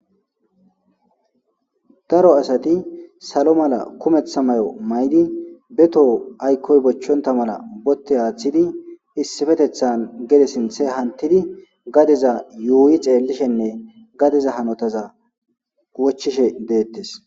daro asati salo mala kumeththa may7o maydi beto aykkoy bochchonta mala botte aaththidi issifetethan gede sinthe hantidi gadeza yuuyi xeellishenne gadeza hanotaza wochishe deettes